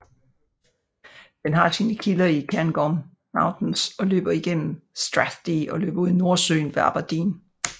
Den har sine kilder i Cairngorm Mountains og løber igennem Strathdee og løber ud i Nordsøen ved Aberdeen